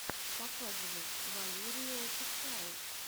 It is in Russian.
показывай валериюофишиал